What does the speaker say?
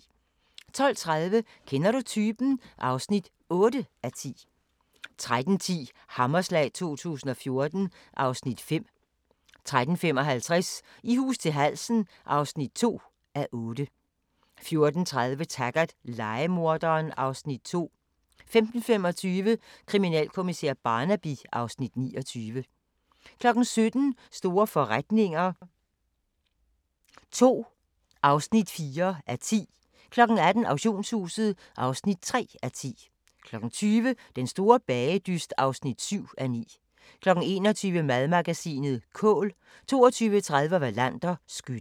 12:30: Kender du typen? (8:10) 13:10: Hammerslag 2014 (Afs. 5) 13:55: I hus til halsen (2:8) 14:30: Taggart: Lejemorderen (Afs. 2) 15:25: Kriminalkommissær Barnaby (Afs. 29) 17:00: Store forretninger II (4:10) 18:00: Auktionshuset (3:10) 20:00: Den store bagedyst (7:9) 21:00: Madmagasinet: Kål 22:30: Wallander: Skytten